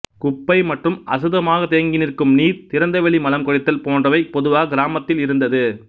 குப்பை மற்றும் அசுத்தமாக தேங்கி நிற்கும் நீர் திறந்தவெளி மலம் கழித்தல் போன்றவை பொதுவாக கிராமத்தில் இருந்தது